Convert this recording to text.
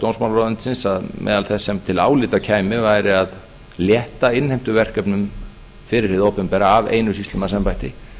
dómsmálaráðuneytisins að meðal þess sem til álita kæmi væri að létta innheimtuverkefnum fyrir hið opinbera af einu sýslumannsembætti